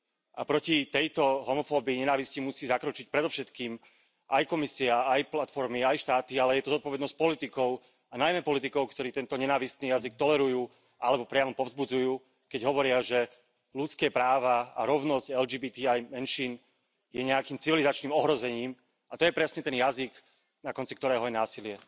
A proti tejto homofóbii nenávisti musí zakročiť predovšetkým aj Komisia, aj platformy, aj štáty, ale je to zodpovednosť politikov, a najmä politikov, ktorí tento nenávistný jazyk tolerujú alebo priamo povzbudzujú, keď hovoria, že ľudské práva a rovnosť LGBTI menšín je nejakým civilizačným ohrozením, a to je presne ten jazyk, na konci ktorého je násilie.